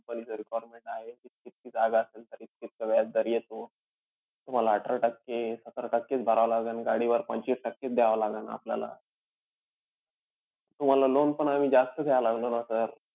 Company चं requirement आहे की इतकी-इतकी जागा असेल तर इतकं-इतकं व्याजदर येतो. तुम्हाला अठरा टक्के-सतरा टक्केच भरावं लागेन. गाडीवर पंचवीस टक्केच द्यावं लागेन आपल्याला. तुम्हाला loan पण आम्ही जास्त द्यायला लागलो ना sir.